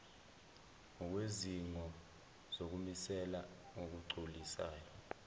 ngokwezidingo zokumisela ngokugculisayo